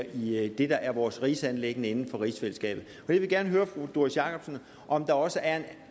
i det der er vores rigsanliggender inden for rigsfællesskabet og jeg vil gerne høre fru doris jakobsen om der også er en